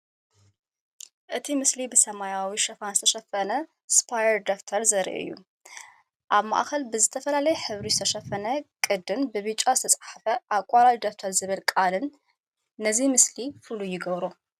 እቲ ምስሊ ብሰማያዊ ሽፋን ዝተሸፈነ ስፓየር ደፍተር ዘርኢ እዩ። ኣብ ማእከል ብዝተፈላለየ ሕብሪ ዝተሸፈነ ቅዲን ብብጫ ዝተጻሕፈ "ኣቋራጭ ደፍተር" ዝብል ቃላትን ነዚ ምስሊ ፍሉይ ይገብሮ።